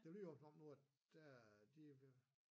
Det lyder også som om nu at der de vil